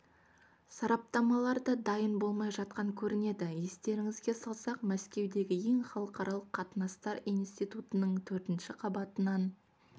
сараптамалар да дайын болмай жатқан көрінеді естеріңізге салсақ мәскеудегі ең халықаралық қатынастар институтының төртінші қабатынан